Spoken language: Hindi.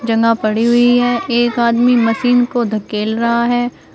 पड़ी हुई है एक आदमी मशीन को धकेल रहा है।